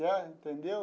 É, entendeu?